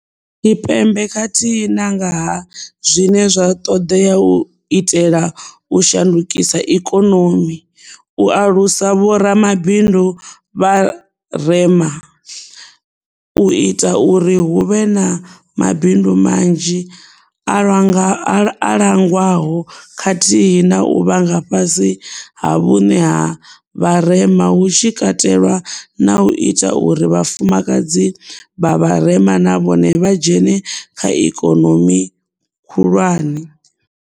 Tshipembe khathihi na nga ha zwine zwa ṱoḓea u itela u shandukisa ikonomi, u alusa vhoramabindu vha rema, u ita uri hu vhe na mabindu manzhi a langwaho khathihi na u vha nga fhasi ha vhuṋe ha vharema hu tshi katelwa na u ita uri vhafumakadzi vha vharema na vhone vha dzhene kha ikonomi khulwane.